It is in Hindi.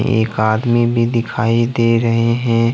एक आदमी भी दिखाई दे रहे हैं।